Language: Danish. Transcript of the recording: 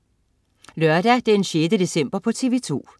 Lørdag den 6. december - TV2: